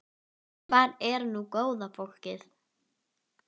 Hvar er nú góða fólkið?